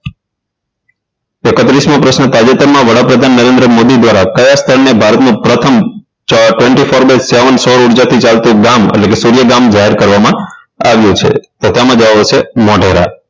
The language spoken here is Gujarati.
એકત્રીસ મો પ્રશ્ન તાજેતરમાં વડાપ્રધાન નરેન્દ્ર મોદી દ્વારા કયા સ્થળને ભારતનું પ્રથમ twenty-four by seven સૌર ઉર્જાથી ચાલતું ગામ એટલે કે સૂર્ય ગામ જાહેર કરવામાં આવ્યું છે તો તેમાં જવાબ આવશે મોઢેરા